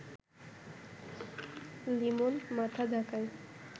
লিমন মাথা ঝাঁকায়